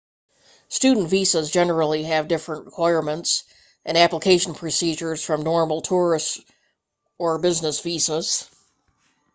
student visas generally have different requirements and application procedures from normal tourist or business visas